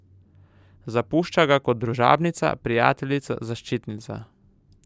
Zapušča ga kot družabnica, prijateljica, zaščitnica.